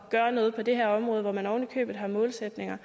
at gøre noget på det her område hvor man ovenikøbet har målsætninger